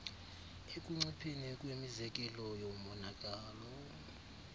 ekuncipheni kwemizekelo yomonakalo